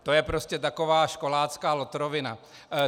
To je prostě taková školácká lotrovina.